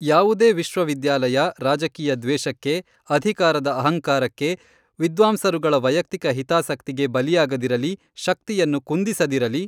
ಯಾವುದೇ ವಿಶ್ವವಿದ್ಯಾಲಯ ರಾಜಕೀಯ ದ್ವೇಷಕ್ಕೆ, ಅಧಿಕಾರದ ಅಹಂಕಾರಕ್ಕೆ, ವಿದ್ವಾಂಸರುಗಳ ವೈಯಕ್ತಿಕ ಹಿತಾಸಕ್ತಿಗೆ, ಬಲಿಯಾಗದಿರಲಿ, ಶಕ್ತಿಯನ್ನು ಕುಂದಿಸದಿರಲಿ.